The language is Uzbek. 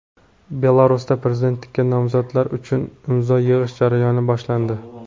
Belarusda prezidentlikka nomzodlar uchun imzo yig‘ish jarayoni boshlandi.